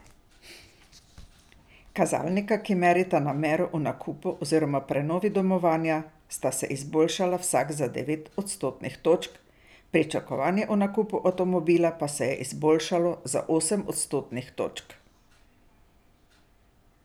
Kazalnika, ki merita namero o nakupu oziroma prenovi domovanja, sta se izboljšala vsak za devet odstotnih točk, pričakovanje o nakupu avtomobila pa se je izboljšalo za osem odstotnih točk.